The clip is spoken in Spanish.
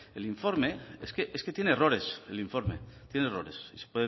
es que tiene errores